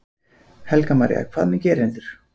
Helga María: Hvað með gerendur?